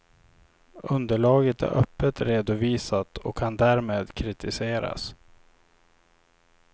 Underlaget är öppet redovisat och kan därmed kritiseras.